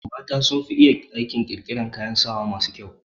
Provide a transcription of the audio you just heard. Mata sun fi iya aikin ƙirƙiran kayan saya masu kyau